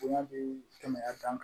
Bonya bi tɛmɛ a ta kan